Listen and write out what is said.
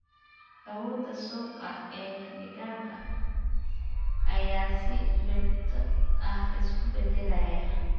Awoodda suuqa ee digaagga ayaa si joogto ah isu beddelaya.